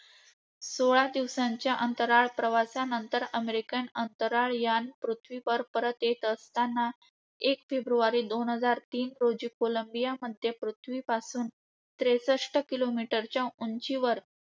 सोळा दिवसांच्या अंतराळ प्रवासानंतर American अंतराळयान पृथ्वीवर परत येत असताना, एक फेब्रुवारी दोन हजार तीन रोजी कोलंबियामध्ये पृथ्वीपासून त्रेसष्ठ kilometer च्या उंचीवर